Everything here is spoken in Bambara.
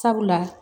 Sabula